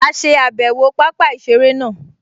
A ṣe àbẹ̀wò pápá-ìseré náà